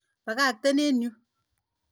Ipaipaitkei eng' yu.